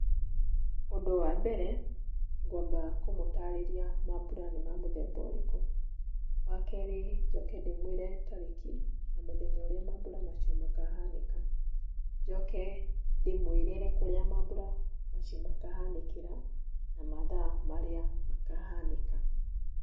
Ũndũ wa mbere ngwamba kũmũtaarĩria maambura nĩ ma mũthemba ũrĩkũ, wa kerĩ njoke ndĩmwĩre tarĩki, na mũthenya ũrĩa maambura mau makahanĩka, njoke ndĩmwĩrĩre kũrĩa maambura macio makahanĩkĩra na mathaa marĩa makahanĩka.